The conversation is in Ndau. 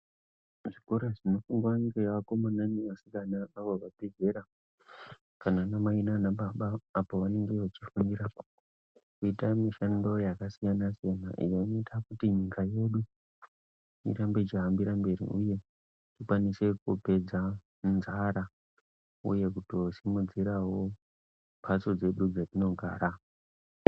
Pachikora panofundira vakomana nevasikana avo vabve zera kana anamai naanababa apa vanenge vechifundira kuita mishando yakasiyana siyana inoite kuti nyika yedu irambe yechihambira mberi uye kukwanise kupedza nzara uye kutosimudzirawo mbatso dzedu dzetinogara.